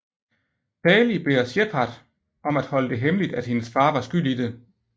Tali beder Shepard om at holde det hemmeligt at hendes far var skyld i det